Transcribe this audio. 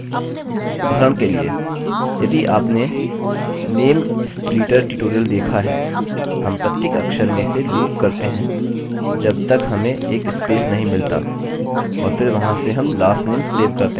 उदाहरण के लिए यदि आपने नेम स्प्लीटर ट्यूटोरियल देखा है हम प्रत्येक अक्षर में से लूप करते हैं जब तक हमें एक स्पेस नहीं मिलता और फिर वहाँ से हम last name सेव करते हैं